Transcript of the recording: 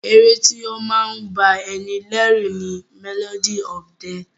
Ẹ̀ré tí o máa ń bá ní lẹ́rù ni "Melody of death"